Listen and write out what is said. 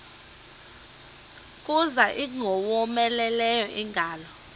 kuza ingowomeleleyo ingalo